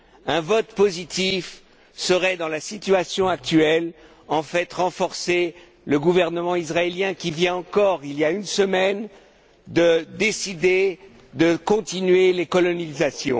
Un vote positif reviendrait, dans la situation actuelle, en fait, à renforcer le gouvernement israélien qui vient encore, il y a une semaine, de décider de poursuivre les colonisations.